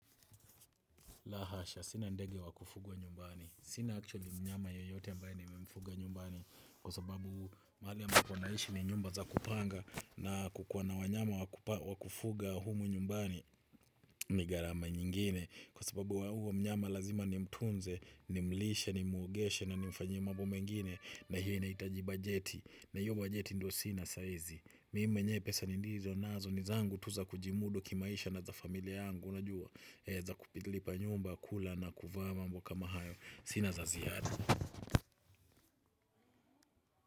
Lahasha, sina ndege wakufugwa nyumbani. Sina actually mnyama yoyote ambaye nimemfuga nyumbani kwa sababu mahaliambapo naishi ni nyumba za kupanga na kukuwana wanyama wakufuga humu nyumbani ni gharama nyingine kwa sababu huo mnyama lazima ni mtunze, ni mlishe, ni mwogeshe na ni mfanyiemambo mengine na hiyo inahitaji bajeti na hiyo bajeti ndiyo sina saahizi. Mimi mwenye pesa nindizi nazo nizangu tuza kujimudu kimaisha na za familia yangu. Unajua za kulipa nyumba, kula na kuvaamambokama hayo. Sina za ziada.